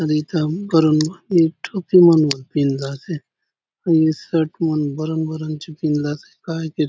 ए काम करुन भाति टोपी मन बले पिधलासे हुनी शर्ट मन बरन - बरन चो पिधलासे काय के --